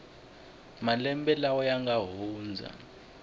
malembe lawa ya nga hundza